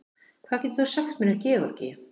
Hvað getur þú sagt mér um Georgíu?